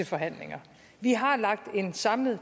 forhandlingerne om en samlet